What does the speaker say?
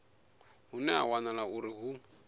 hune ha wanala uri hu